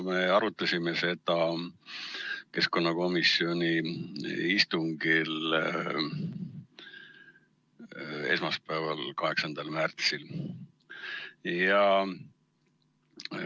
Me arutasime seda keskkonnakomisjoni istungil esmaspäeval, 8. märtsil.